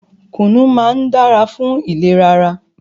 Kùnú máá ń dára fún ìlera ara.